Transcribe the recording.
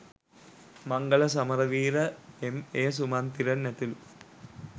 මංගල සමරවීර එම්.ඒ. සුමන්තිරන් ඇතුළු